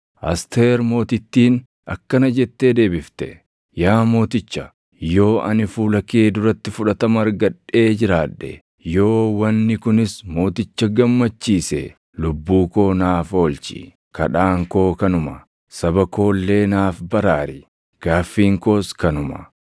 Asteer Mootittiin akkana jettee deebifte; “Yaa mooticha, yoo ani fuula kee duratti fudhatama argadhee jiraadhe, yoo wanni kunis mooticha gammachiise, lubbuu koo naaf oolchi; kadhaan koo kanuma. Saba koo illee naaf baraar; gaaffiin koos kanuma.